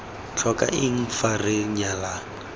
tlhoka eng fa re nyalana